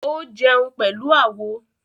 Ó jẹun pẹ̀lú àwo